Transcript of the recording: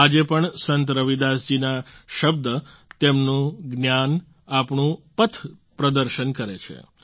આજે પણ સંત રવિદાસ જી ના શબ્દ તેમનું જ્ઞાન આપણું પથપ્રદર્શન કરે છે